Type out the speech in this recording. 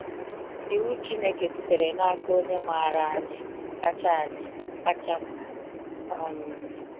Iwu Chineke sitere n’aka Onye maara anyị kacha anyị kacha mma. um